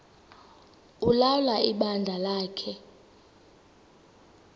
ulawula ibandla lakhe